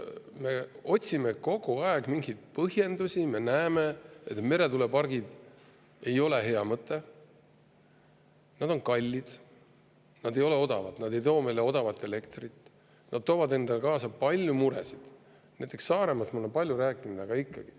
Me otsime kogu aeg mingeid põhjendusi, kuigi me näeme, et meretuulepargid ei ole hea mõte: nad on kallid, nad ei ole odavad ja nad ei too meile odavat elektrit, nad toovad endaga kaasa palju muresid, näiteks Saaremaast olen ma palju rääkinud, aga ikkagi.